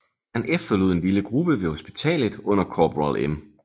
Han efterlod en lille gruppe ved hospitalet under korporal M